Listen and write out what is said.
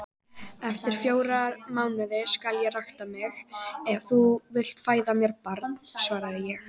Eftir fjóra mánuði skal ég raka mig, ef þú vilt fæða mér barn, svaraði ég.